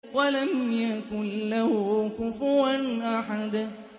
وَلَمْ يَكُن لَّهُ كُفُوًا أَحَدٌ